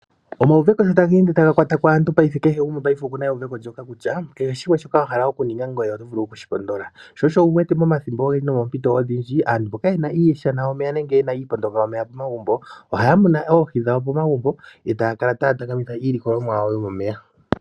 Omauveko sho taga ende taga kwata aantu paife kehe gumwe okuna euveko ndjoka kutya kehe shimwe shoka wa hala okuninga ngoye oto vulu okushipndola. Sho osho wu wete momathimbo ogendji nomoompito odhindji aantu mboka yena iishana yomeya nenge iipondonga yomeya pomagumbo ohaya munu oohi dhawo pomagumbo etaya kala taya takamitha iilikolomwa yawo yomomeya.